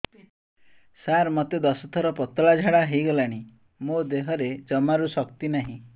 ସାର ମୋତେ ଦଶ ଥର ପତଳା ଝାଡା ହେଇଗଲାଣି ମୋ ଦେହରେ ଜମାରୁ ଶକ୍ତି ନାହିଁ